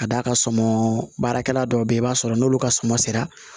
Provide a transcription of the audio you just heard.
Ka d'a ka sɔmɔ baarakɛla dɔw be yen i b'a sɔrɔ n'olu ka suman sera